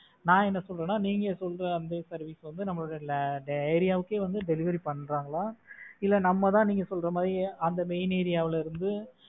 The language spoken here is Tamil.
நான் என்ன சொல்றேன்னா நீங்க சொல்ற அந்த service வந்து நம்ம ஏரியாவுக்கே வந்து delivery பண்றாங்களா இல்ல நம்மதான் நீங்க சொல்ற மாதிரி அந்த main ஏரியாவில் இருந்து